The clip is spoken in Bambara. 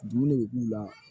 Dumuni bɛ k'u la